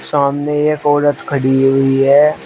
सामने एक औरत खड़ी हुई है।